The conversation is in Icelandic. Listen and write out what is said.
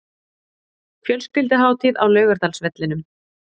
Fjölskylduhátíð á Laugardalsvellinum